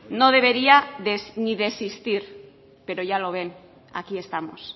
no debería ni de existir pero ya lo ven aquí estamos